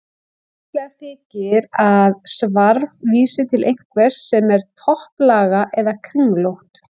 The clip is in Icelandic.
Líklegt þykir að svarf vísi til einhvers sem er topplaga eða kringlótt.